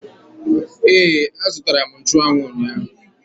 Ee, azụtara m nchụanwụ ụnyaahụ